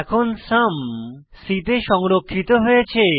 এখানে সুম c তে সংরক্ষিত হয়েছে